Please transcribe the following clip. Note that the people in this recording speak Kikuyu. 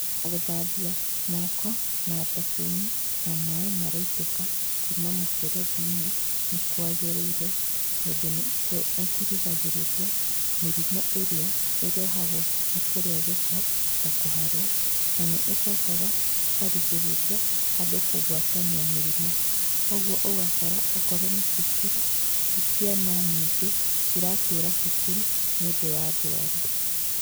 Gũthambĩa moko na thabũnĩ ,na maĩ maraitĩka kuma mũberethi-ĩnĩ nĩ kwagĩrĩĩre tondũ nĩ kũrĩgagĩrĩria mĩrimũ ĩrĩa ĩrehagwo nĩ kũrĩa gĩko ta kũharwo na nĩ ĩcokaga ĩkarĩgĩrĩria andũ kũgwatanĩa mĩrimũ .Kwoguo ũgakora okorwo nĩ cukuru tĩ cĩana nyingĩ cĩratĩra cukuru nĩũndũ wa ndwari.